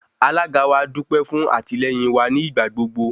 Alága wa dúpẹ́ fún àtìlẹ́yìn wa ní ìgbàgbogbo.